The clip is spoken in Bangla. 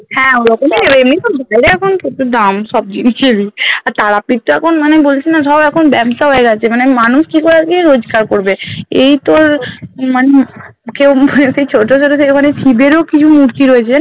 হ্যাঁ ওরকমই নেবে এমনি সব গেলে এখন তো তো দাম সব জিনিসেরই আর তারাপীঠ তো এখন মানে বলছিনা সব এখন ব্যাবসা হয়ে গেছে মানে মানুষ কি করে আজকে রোজকার করবে এই তোর মানুষ কেউ মুখের সেই ছোটোদেরও সেই মানে ক্ষিদেরও কি মূর্তি রয়েছে